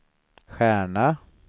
stjärna